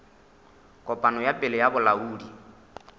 kopano ya pele ya bolaodi